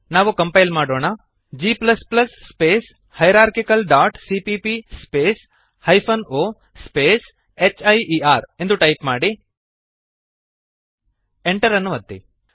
ನಾವು ಕಂಪೈಲ್ ಮಾಡೋಣ g space hierarchical dot CPP space hyphen o space here ಎಂದು type ಮಾಡಿರಿ Enter ಅನ್ನು ಒತ್ತಿರಿ